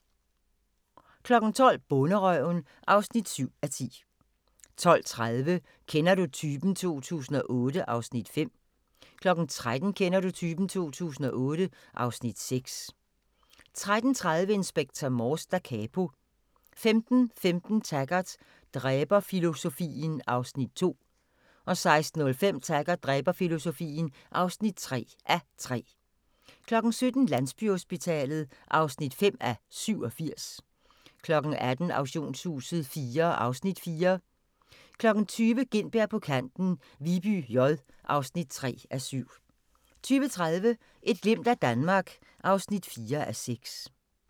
12:00: Bonderøven (7:10) 12:30: Kender du typen? 2008 (Afs. 5) 13:00: Kender du typen? 2008 (Afs. 6) 13:30: Inspector Morse: Da Capo 15:15: Taggart: Dræberfilosofien (2:3) 16:05: Taggart: Dræberfilosofien (3:3) 17:00: Landsbyhospitalet (5:87) 18:00: Auktionshuset IV (Afs. 4) 20:00: Gintberg på Kanten - Viby J (3:7) 20:30: Et glimt af Danmark (4:6)